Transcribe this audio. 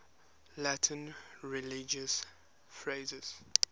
latin religious phrases